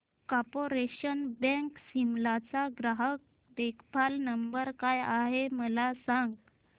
corporation bank Shimla चा ग्राहक देखभाल नंबर काय आहे मला सांग